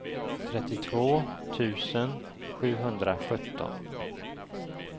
trettiotvå tusen sjuhundrasjutton